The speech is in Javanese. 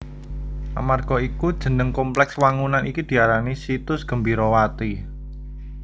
Amarga iku jeneng komplèks wangunan iki diarani Situs Gembirawati